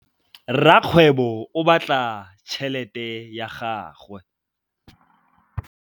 Rakgwêbô o bala tšheletê ya gagwe.